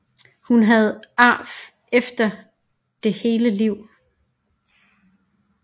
Hun havde ar efter det hele livet